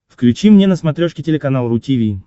включи мне на смотрешке телеканал ру ти ви